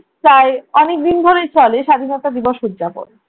প্রায়ই অনেকদিন ধরে চলে স্বাধীনতা দিবস উদযাপন।